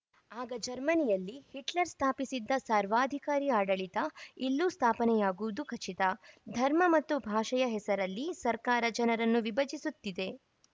ಆಗ ಜರ್ಮನಿಯಲ್ಲಿ ಹಿಟ್ಲರ್‌ ಸ್ಥಾಪಿಸಿದ್ದ ಸರ್ವಾಧಿಕಾರಿ ಆಡಳಿತ ಇಲ್ಲೂ ಸ್ಥಾಪನೆಯಾಗುವುದು ಖಚಿತ ಧರ್ಮ ಮತ್ತು ಭಾಷೆಯ ಹೆಸರಲ್ಲಿ ಸರ್ಕಾರ ಜನರನ್ನು ವಿಭಜಿಸುತ್ತಿದೆ